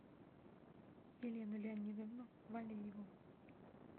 елену леонидовну валееву